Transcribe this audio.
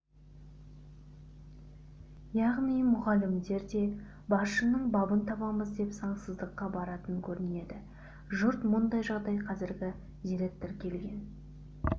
яғни мұғалімдер де басшының бабын табамыз деп заңсыздыққа баратын көрінеді жұрт мұндай жағдай қазіргі директор келген